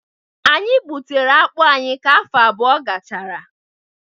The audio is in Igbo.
Anyị egbutere akpu anyị ka afọ abụọ gachara